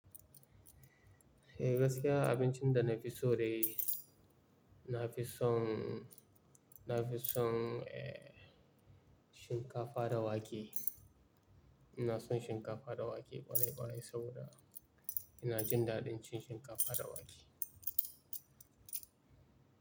Eh gaskiya abin cin da na fi so de, na fi son, na fi son, eh, shinkafa dawa ke. Inason shinkafa da wake ƙwarai ƙwarai saboda. Inajin daɗin cin shinkafa da wake.